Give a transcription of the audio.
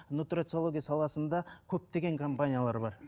нутрициология саласында көптеген компаниялар бар